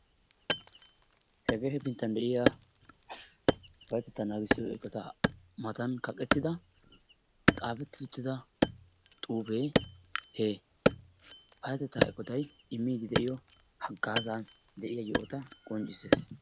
Hegee hefinttan deiyaa payatetta naagissiyo eqqota matan kaqqettida xaafetti-uttida xuufe he payatetta eqqottay immidi deiyo haggaazzan deiya yohota qonccissidi de'ees.